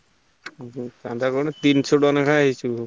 ଚାନ୍ଦା କଣ ତିନିଶହ ଟଙ୍କା ଲେଖନ ଆସିବ,